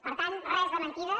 per tant res de mentides